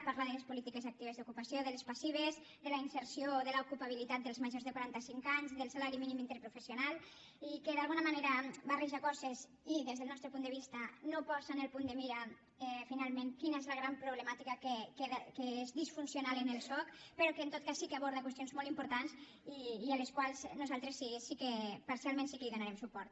parla de les polítiques actives d’ocupació de les passives de la inserció de l’ocupabilitat dels majors de quarantacinc anys del salari mínim interprofessional i d’alguna manera barreja coses i des del nostre punt de vista no posa en el punt de mira finalment quina és la gran problemàtica que és disfuncional en el soc però que en tot cas sí que aborda qüestions molt importants i a les quals nosaltres parcialment sí que donarem suport